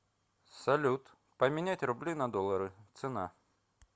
салют поменять рубли на доллары цена